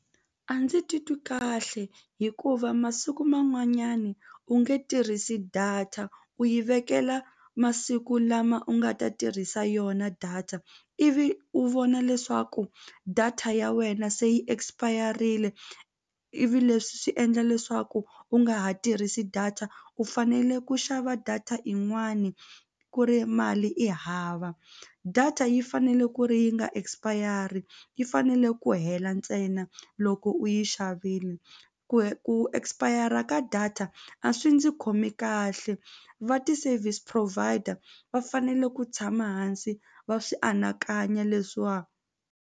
A ndzi titwi kahle hikuva masiku man'wanyani u nge tirhisi data u yi vekela masiku lama u nga ta tirhisa yona data ivi u vona leswaku data ya wena se yi expire-rile ivi leswi swi endla leswaku u nga ha tirhisi data u fanele ku xava data yin'wani ku ri mali i hava data yi fanele ku ri yi nga expire yi fanele ku hela ntsena loko u yi xavini ku expire ka data a swi ndzi khomi kahle va ti-service provider va fanele ku tshama hansi va swi anakanya leswiwa.